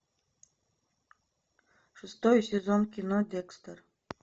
шестой сезон кино декстер